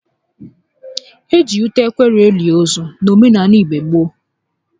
E ji ute ekwere eli ozu n'omenaala igbo gboo